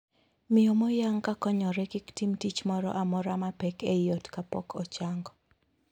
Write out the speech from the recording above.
Miyo moyang' ka konyore kik tim tich moro amora mapek ei ot kapok ochango.